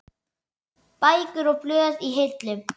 Bækur og blöð í hillum.